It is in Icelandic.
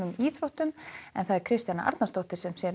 íþróttum Kristjana Arnarsdóttir sér um